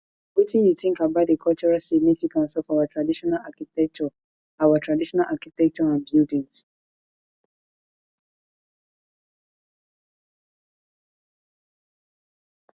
wetin you think about di cultural significance of our traditional architecture our traditional architecture and buildings